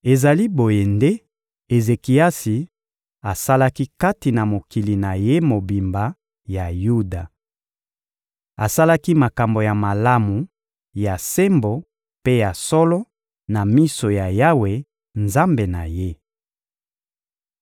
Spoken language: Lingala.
Ezali boye nde Ezekiasi asalaki kati na mokili na ye mobimba ya Yuda. Asalaki makambo ya malamu, ya sembo mpe ya solo na miso ya Yawe, Nzambe na ye.